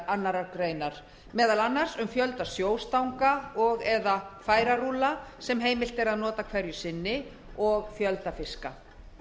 annarrar greinar meðal annars um fjölda sjóstanga og eða færarúlla sem heimilt er að nota hverju sinni og fjölda fiska